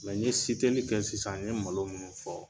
Mɛ n ye kɛ sisan n ye malo minnu fɔ.